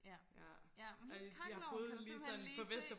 ja ja hendes kakkelovn kan du simpelthen lige se